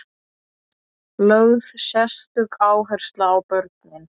Lögð sérstök áhersla á börnin.